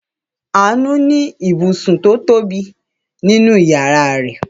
Àánú ní ibùsùn tó tóbi nínú ìyàrá rẹ̀.